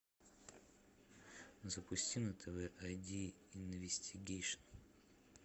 запусти на тв ай ди инвестигейшн